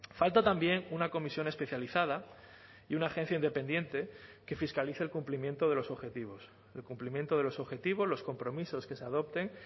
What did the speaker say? falta también una comisión especializada y una agencia independiente que fiscalice el cumplimiento de los objetivos el cumplimiento de los objetivos los compromisos que se adopten